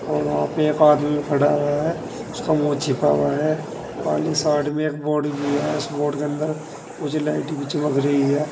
और वहां पे एक आदमी खड़ा हुआ है उसका मुंह छिपा हुआ है पाली साइड में एक बोर्ड भी है उस बोर्ड के अंदर कुछ लाइट भी चमक रही है।